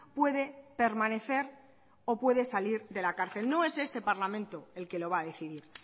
puede permanecer o puede salir de la cárcel no es este parlamento el que lo va a decidir